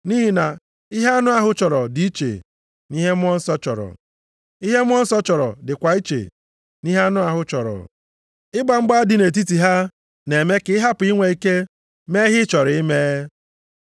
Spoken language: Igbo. Nʼihi na ihe anụ ahụ chọrọ dị iche nʼihe Mmụọ Nsọ chọrọ. Ihe Mmụọ Nsọ chọrọ dịkwa iche nʼihe anụ ahụ chọrọ. Ịgba mgba dị nʼetiti ha na-eme ka ị hapụ inwe ike mee ihe ị chọrọ ime.